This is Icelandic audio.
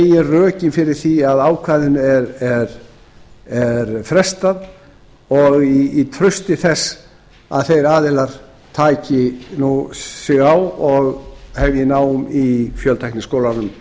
eru meginrökin fyrir því að ákvæðinu er frestað og í trausti þess að þeir aðilar taki sig á og hefji nám i fjöltækniskólanum